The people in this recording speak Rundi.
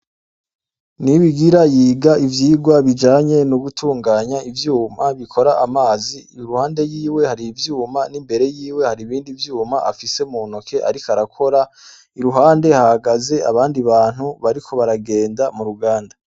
Ni ibigira yiga ivyirwa bijanye ni'ugutunganya ivyuma bikora amazi iruhande yiwe hari ivyuma n'imbere yiwe hari ibindi vyuma afise mu ntoke, ariko arakora iruhande hagaze abandi bantu bariko baragenda mu ruganda.